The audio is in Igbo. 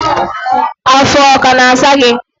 afọ ọ kana asa gi?